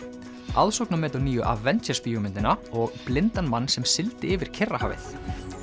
aðsóknarmet á nýju Avengers bíómyndina og blindan mann sem sigldi yfir Kyrrahafið